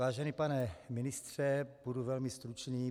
Vážený pane ministře, budu velmi stručný.